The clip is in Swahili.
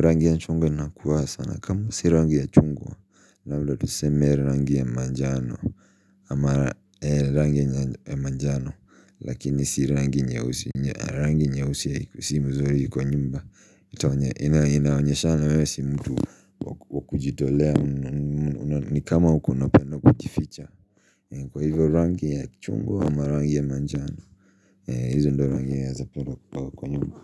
Rangi ya chungwa inakuwa sana kama si rangi ya chungwa labda tuseme rangi ya manjano ama rangi ya manjano. Lakini si rangi nyeusi. Rangi nyeusi si vizuri kwa nyumba inaonyeshana wewe si mtu wa kujitolea ni kama huku unapenda kujificha. Kwa hivyo rangi ya chungwa ama rangi ya manjano. Hizo ndio rangi nawezapenda kupaka kwa nyumba.